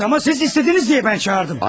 Əlbəttə, amma siz istədiniz deyə mən çağırdım.